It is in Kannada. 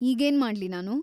ಈಗೇನ್ ಮಾಡ್ಲಿ‌ ನಾನು?